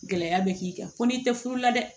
Gɛlɛya bɛ k'i kan fɔ n'i tɛ furu la dɛ